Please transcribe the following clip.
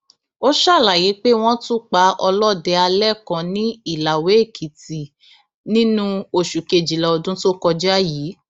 ó ṣàlàyé pé wọn tún pa ọlọdẹ alẹ kan ní ìlàwéèkìtì nínú oṣù kejìlá ọdún tó kọjá yìí